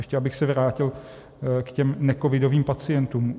Ještě abych se vrátil k těm necovidovým pacientům.